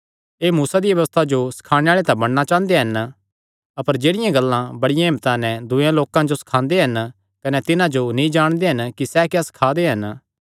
एह़ मूसा दिया व्यबस्था जो सखाणे आल़े तां बणना चांह़दे हन अपर जेह्ड़ियां गल्लां बड़िया हिम्मता नैं दूये लोकां जो सखांदे हन कने तिन्हां जो नीं जाणदे कि सैह़ क्या सखा दे हन